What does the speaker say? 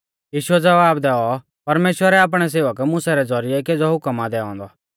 यीशुऐ ज़वाब दैऔ परमेश्‍वरै आपणै सेवक मुसा रै ज़ौरिऐ केज़ौ हुकम आ दैऔ औन्दौ